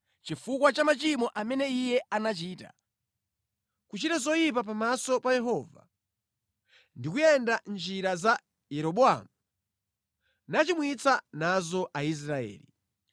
chifukwa cha machimo amene iye anachita, kuchita zoyipa pamaso pa Yehova ndi kuyenda mʼnjira za Yeroboamu, nachimwitsa nazo Aisraeli.